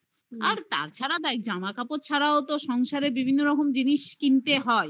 হ্যা. আর তাছাড়া দায় জামা কাপড় ছাড়াও তো সংসারের বিভিন্ন রকম জিনিস কিনতে হয়।